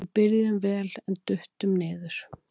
Við byrjuðum vel en duttum niður.